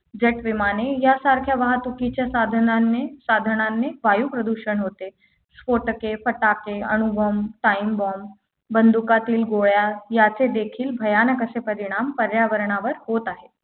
JET विमान यासारखे वाहतुकीच्या साधनाने साधनाने वायु प्रदूषण होते स्फोटके फटाके अणु bomb Timebomb बंदुकातील गोळ्या याचे देखील भयानक असे परिणाम पर्यावरणावर होत आहेत